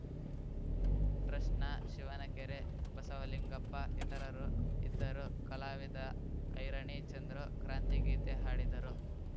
ಟ್ರಸ್ಟ್‌ನ ಶಿವನಕೆರೆ ಬಸವಲಿಂಗಪ್ಪ ಇತರರು ಇದ್ದರು ಕಲಾವಿದ ಐರಣಿ ಚಂದ್ರು ಕ್ರಾಂತಿ ಗೀತೆ ಹಾಡಿದರು